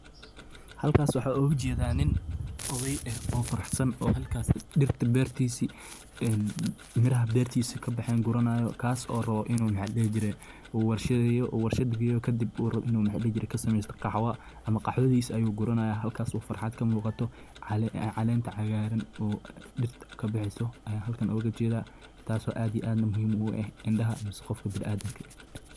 halkaas waxaa ugu jeedaa nin oday ah oo faraxsan oo halkaas dhirta beertiisii een miraha beertiisa ka baxeen guranaayo kaas oo rabo inuu maxa dhihi jiray uu warshadayo uu warshad geyo kadib inuu ka sameysto khaxawo ama khaxawodiisa ayuu guranayaa halkaas uu farxad ka muuqato caleenta cagaaran oo dirta kabaheyso aya halkan oo ga jedha taas oo aad iyo aad muhim ogu eeh indaha mase qofka biniadam ka eh.